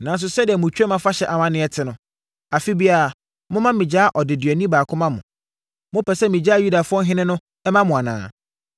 Nanso, sɛdeɛ mo Twam Afahyɛ amanneɛ te no, afeɛ biara moma megyaa ɔdeduani baako ma mo. Mopɛ sɛ megyaa Yudafoɔ ɔhene no ma mo anaa?”